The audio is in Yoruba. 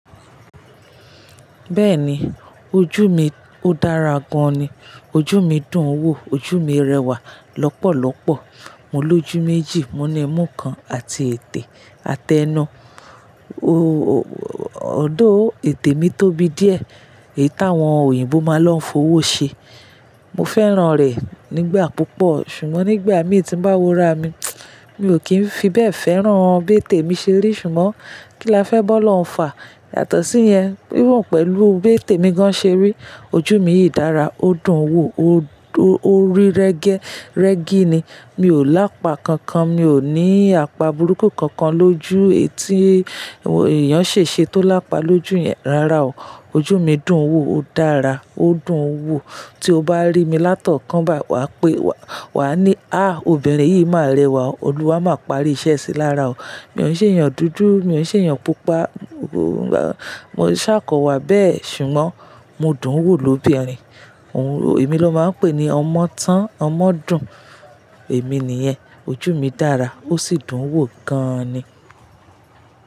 Bẹ́ẹ̀ni, ojú mi ó dára gan ni. Ojú mi dùn ń wò, ojú mi rẹwà lọ́pọ̀lọ́pọ̀. Mo lójú méjì, mo ní imú kan àti ètè àtẹnu. O-o although ètè mi tóbi díẹ̀. Èyí táwọn òyìnbó máa ń lọ fowó ṣe. Mo fẹ́ràn rẹ̀ nígbà púpọ̀, ṣùgbọ́n nígbà mí tí ń bá wúra mi, mi ò kí ń fi bẹ́ẹ̀ fẹ́ràn bí ètè mi ṣe rí. Ṣùgbọ́n kí la fẹ́ bọ́ lọ́uń fà? Yàtọ̀ sí yẹn, wíwọ̀n pẹ̀lú bí ètè mi gan ṣe rí, ojú mi yìí dára, ó dùn ń wò, o-o rí rẹ́gẹ́, rẹ́gí ni. Mi ò lápà kankan, mi ò ní àpá burúkú kankan lójú. Èyí tí èèyàn ṣe ṣe tó lápà lójú yẹn, rárá o. Ojú mi dùn ń wò, ó dára, ó dùn ń wò. Tí o bá rí mi látọ̀kánbà, wà á pé wà á ní, "à, obìnrin yìí máa rẹwà o, Olúwa máa parí iṣẹ́ sí i lára o." Mi ò ṣe èèyàn dúdú, mi ò ṣe èèyàn pupa, mo ṣàkọwa bẹ́ẹ̀ ṣùgbọ́n mo dùn ń wò lóbìnrin. Ohun mi ló máa ń pè ni ọmọ tán, ọmọ dùn. Èmi nìyẹn. Ojú mi dára ó sì dùn ń wò gan ni.